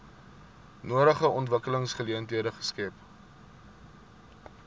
nodige ontwikkelingsgeleenthede skep